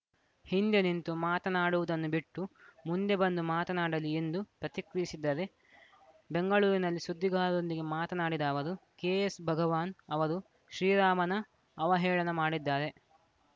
ಹಿಂದೆ ನಿಂತು ಮಾತನಾಡುವುದನ್ನು ಬಿಟ್ಟು ಮುಂದೆ ಬಂದು ಮಾತನಾಡಲಿ ಎಂದು ಪ್ರತಿಕ್ರಿಯಿಸಿದ್ದಾರೆ ಬೆಂಗಳೂರಿನಲ್ಲಿ ಸುದ್ದಿಗಾರರೊಂದಿಗೆ ಮಾತನಾಡಿದ ಅವರು ಕೆಎಸ್‌ ಭಗವಾನ್‌ ಅವರು ಶ್ರೀರಾಮನ ಅವಹೇಳನ ಮಾಡಿದ್ದಾರೆ